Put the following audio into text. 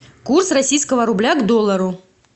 курс российского рубля к доллару